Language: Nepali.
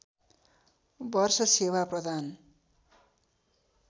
वर्ष सेवा प्रदान